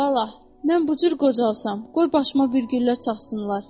Vallah, mən bu cür qocalsam, qoy başıma bir güllə çaxsınlar.